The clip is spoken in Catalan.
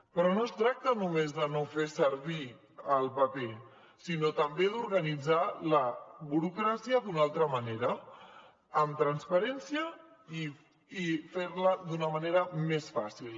però no es tracta només de no fer servir el paper sinó també d’organitzar la burocràcia d’una altra manera amb transparència i fer la d’una manera més fàcil